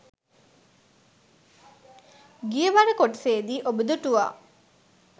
ගියවර කොටසේදී ඔබ දුටුවා.